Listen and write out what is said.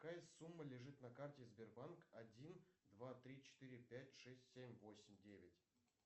какая сумма лежит на карте сбербанк один два три четыре пять шесть семь восемь девять